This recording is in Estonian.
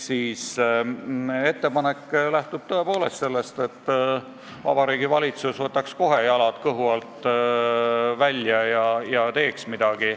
Meie ettepanek lähtub tõepoolest soovist, et Vabariigi Valitsus võtaks kohe jalad kõhu alt välja ja teeks midagi.